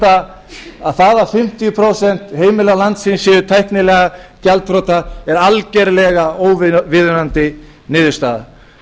það að fimmtíu prósent heimila landsins séu tæknilega gjaldþrota er algjörlega óviðeigandi niðurstaða